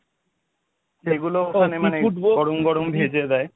সেগুলো মানে গরম গরম ভেজে দেয়।